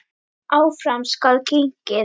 Áfram skal gengið.